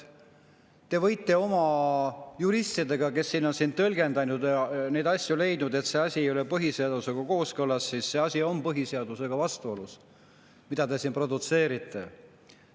Te võite oma juristidele, kes on tõlgendanud, kas see asi on põhiseadusega kooskõlas, et see asi on põhiseadusega vastuolus, mida te siin produtseerite.